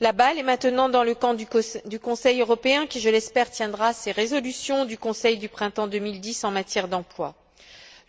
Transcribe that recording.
La balle est maintenant dans le camp du Conseil européen qui, je l'espère, tiendra ses résolutions du Conseil du printemps 2010 en matière d'emploi.